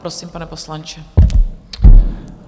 Prosím, pane poslanče.